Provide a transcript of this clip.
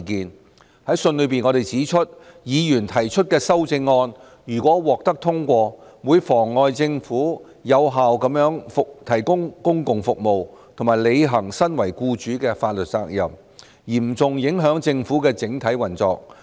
我們在信中指出，議員提出的修正案如獲得通過，會妨礙政府有效提供公共服務，以及履行身為僱主的法律責任，嚴重影響政府的整體運作。